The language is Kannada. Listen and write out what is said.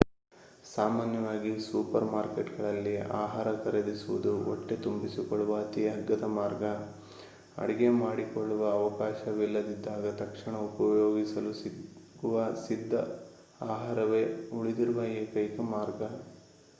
ಸಾಮಾನ್ಯವಾಗಿ ಸೂಪರ್ ಮಾರ್ಕೇಟ್ಗಳಲ್ಲಿ ಆಹಾರ ಖರೀದಿಸುವುದು ಹೊಟ್ಟೆ ತುಂಬಿಸಿಕೊಳ್ಳುವ ಅತೀ ಅಗ್ಗದ ಮಾರ್ಗ ಅಡುಗೆ ಮಾಡಿಕೊಳ್ಳುವ ಅವಕಾಶವಿಲ್ಲದಿದ್ದಾಗ ತಕ್ಷಣ ಉಪಯೋಗಿಸಲು ಸಿಗುವ ಸಿದ್ಧ ಆಹಾರವೇ ಉಳಿದಿರುವ ಎಕೈಕ ಮಾರ್ಗ